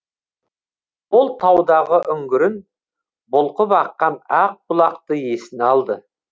ол таудағы үңгірін бұлқып аққан ақ бұлақты есіне алды